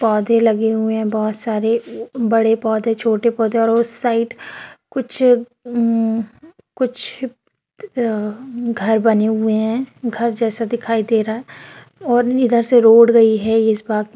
पौधे लगे हुए हैं बहुत सारे बड़े पौधे छोटे पौधे और उस साइड कुछ उधर कुछ घर बने हुए हैं घर जैसा दिखाई दे रहा हैं और इधर से रोड गयी है इस बाग कि--